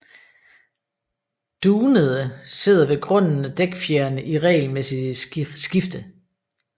Dunede sidder ved grunden af dækfjerene i regelmæssigt skifte